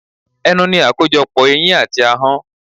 Ẹnu ní akojopo eyín àti ahọ́n.